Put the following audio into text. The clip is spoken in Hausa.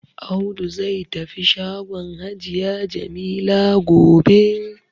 Audu zai tafi shagon hajiya Jamila gobe.